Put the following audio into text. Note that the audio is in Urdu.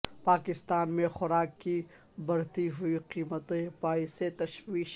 پاکستان میں خوراک کی بڑھتی ہوئی قیمتیں باعث تشویش